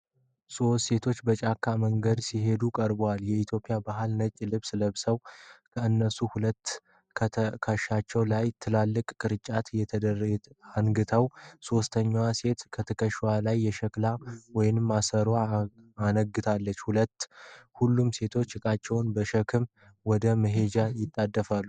ሶስት ሴቶች በጫካ መንገድ ሲሄዱ ቀርበዋል። የኢትዮጵያ ባህላዊ ነጭ ልብሶችን ለብሰዋል። ከእነርሱ ሁለቱ በትከሻቸው ላይ ትልልቅ ቅርጫቶች አነግተዋል። ሦስተኛዋ ሴት በትከሻዋ ላይ የሸክላ ውሃ ማሰሮ አነግታለች። ሁሉም ሴቶች ዕቃዎቻቸውን በመሸከም ወደ መሄጃቸው ይጣደፋሉ።